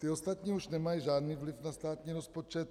Ty ostatní už nemají žádný vliv na státní rozpočet.